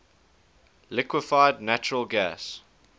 liquefied natural gas